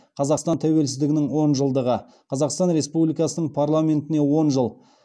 қазақстан тәуелсіздігінің он жылдығы қазақстан республикасының парламентіне он жыл